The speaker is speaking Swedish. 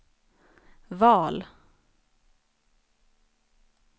val